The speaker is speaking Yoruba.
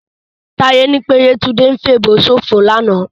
Táyé ní pé Yétúndé ń fèèbó ṣòfò lánàá